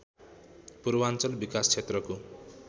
पूर्वाञ्चल विकास क्षेत्रको